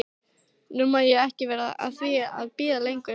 Nú má ég ekki vera að því að bíða lengur.